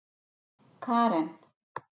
Karen